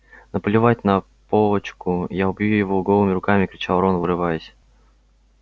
наплевать на полочку я убью его голыми руками кричал рон вырываясь